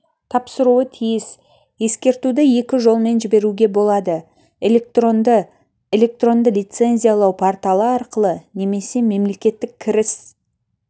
тапсыруы тиіс ескертуді екі жолмен жіберуге болады электронды электронды лицензиялау порталы арқылы немесе мемлекеттік кіріс